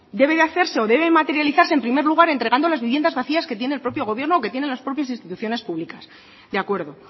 debe de hacerse o debe materializarse en primer lugar entregando las viviendas vacías que tiene el propio gobierno o que tienen las propias instituciones públicas de acuerdo